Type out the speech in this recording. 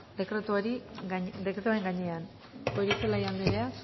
gainean goirizelaia anderea